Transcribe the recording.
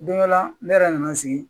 Don dɔ la ne yɛrɛ nana sigi